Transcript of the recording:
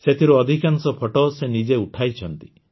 ସେଥିରୁ ଅଧିକାଂଶ ଫଟୋ ସେ ନିଜେ ଉଠାଇଛନ୍ତି